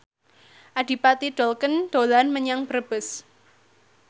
Adipati Dolken dolan menyang Brebes